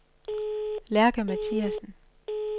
Lærke Mathiasen